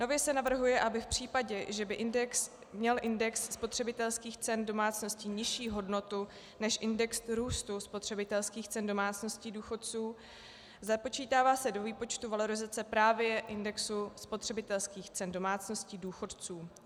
Nově se navrhuje, aby v případě, že by měl index spotřebitelských cen domácností nižší hodnotu než index růstu spotřebitelských cen domácností důchodců, započítává se do výpočtu valorizace právě index spotřebitelských cen domácností důchodců.